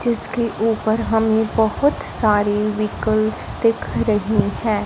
इसके ऊपर हमें बहुत सारे व्हीकलस दिख रहे हैं।